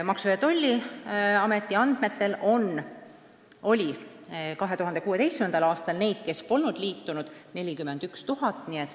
Maksu- ja Tolliameti andmetel oli 2016. aastal neid, kes polnud liitunud, 41 000.